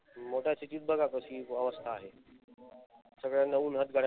मोठ्या city त बघा कशी अवस्था आहे. सगळ्यांना उन्हात गाड्या